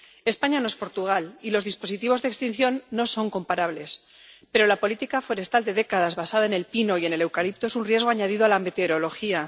España no es Portugal, y los dispositivos de extinción no son comparables, pero la política forestal de décadas basada en el pino y en el eucalipto es un riesgo añadido a la meteorología.